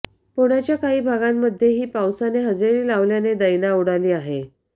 पुण्याच्या काही भागांमध्येही पावसाने हजेरी लावल्याने दैना उडाली आहे